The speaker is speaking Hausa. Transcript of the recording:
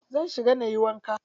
Zan shiga nayi wanka.